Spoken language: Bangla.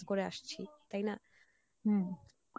করে আসছি তাই না?